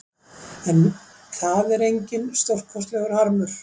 En það er enginn stórkostlegur harmur